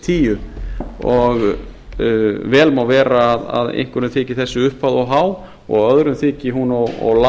hundrað og tíu og vel má vera að einhverjum þyki þessi upphæð of há og öðrum þyki hún of